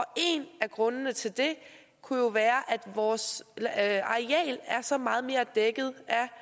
en af grundene til det kunne jo være at vores areal er så meget mere dækket